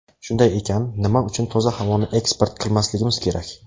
Shunday ekan, nima uchun toza havoni eksport qilmasligimiz kerak?